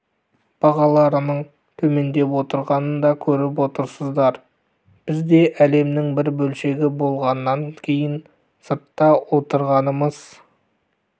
бағаларының төмендеп отырғанын да көріп отырсыздар біз де әлемнің бір бөлшегі болғаннан кейін сыртта отырғанымыз